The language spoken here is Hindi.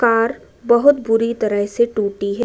कार बहुत बुरी तरह से टूटी है।